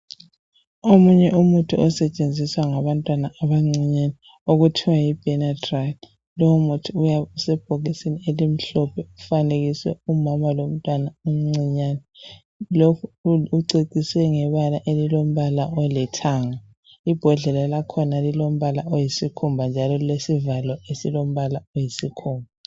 Omunye umuthi osetshenziswa ngabantwana abancinyane okuthiwa yi Benadryl. Lowu muthi uyabe usebhokisini elimhlophe, ufanekiswe umama lomntwana omncinyane. Lokhu uceciswe ngebala elilombala olithanga. Ibhodlela lakhona lilombala oyisikhumba njalo lilombala oyisikhumba